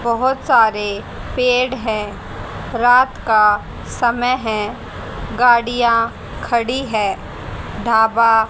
बहोत सारे पेड़ है रात का समय है गाड़ियां खड़ी है ढाबा--